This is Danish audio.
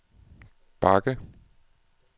bakke